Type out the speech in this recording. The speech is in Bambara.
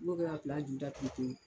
I b'o kɛ ka ju datugu pewu.